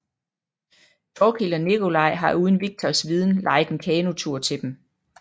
Thorkild og Nikolaj har uden Viktors viden lejet en kanotur til dem